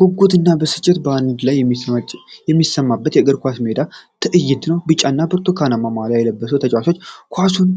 ጉጉትና ብስጭት በአንድ ጊዜ የሚሰማበት የእግር ኳስ ሜዳ ትዕይንት ነው። ቢጫና ብርቱካናማ ማልያ የለበሱ ተጫዋቾች ኳሱን